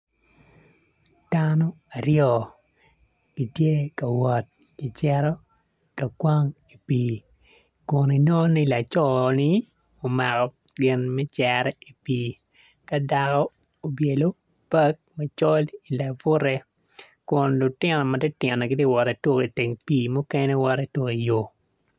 Dano aryo gitye ka wot gicito ka kwan i pii kun inongo ni laco ni omako gin me cere i pii ka dako obyelo bag macol i labute kun lutino ma titino gitye ka wot ki tuko i pii mukene tye ka wot ki tuko iyo.